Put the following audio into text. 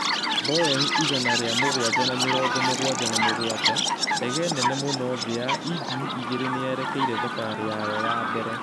Boeing igana ria mũgwanja na mĩrongo mũgwanja na mũgwanjax:Ndege nene muno thi ya injini igĩre nĩerekĩtie thabarĩ yayo ya mbere